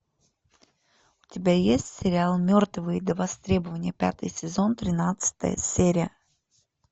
у тебя есть сериал мертвые до востребования пятый сезон тринадцатая серия